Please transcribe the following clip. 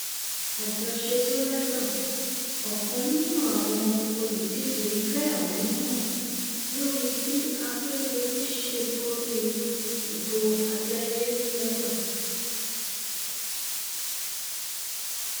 àjọṣetòlẹgàn ọkan nínú àwọn olùdíje fẹhónú hàn lórí bí akérèdọlù ṣe borí ìbò abẹlé lodò